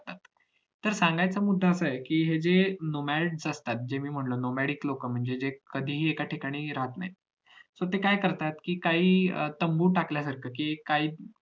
तर सांगायचं मुद्दा असा आहे कि हे जे nomades असतात जे मी म्हंटले nomadic लोक म्हणजे जे लोक कधीही एका ठिकाणी राहत नाहीत so ते काय करतात कि काही अं तुंबू टाकल्यासारखं काही